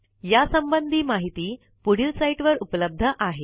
यासंबंधी माहिती पुढील साईटवर उपलब्ध आहे